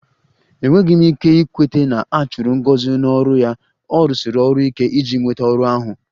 Enweghị m ike ikweta na a chụrụ Ngozi n'ọrụ ya, ọ rụsiri ọrụ ike iji nweta ọrụ ahụ